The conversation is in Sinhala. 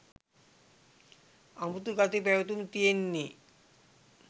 අමුතු ගති පැවතුම් තියෙන්නේ